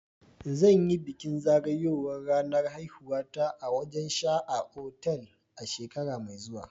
Zan yi bikin zagayowar ranar haihuwata a wajen sha a otal a shekara mai zuwa.